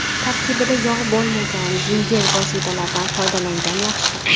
Tarkibida yog‘ bo‘lmagan yengil vositalardan foydalangan yaxshi.